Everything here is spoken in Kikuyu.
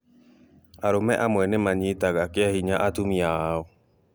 Arũme amwe nĩmanyitaga kĩahinya atumia ao